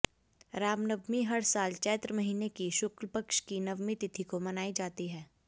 रामनवमी हर साल चैत्र महीने की शुक्ल पक्ष की नवमी तिथि को मनाई जाती है